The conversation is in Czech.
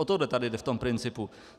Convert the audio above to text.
O to jde tady v tom principu.